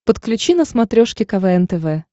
подключи на смотрешке квн тв